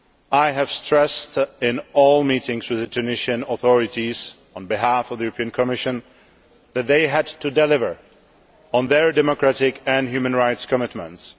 I have stressed in all meetings with the Tunisian authorities, on behalf of the European Commission, that they had to deliver on their democratic and human rights commitments.